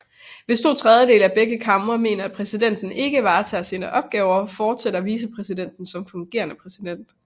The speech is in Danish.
Hvis to tredjedele af begge kamre mener at præsidenten ikke kan varetage sine opgaver fortsætter vicepræsidenten som fungerende præsident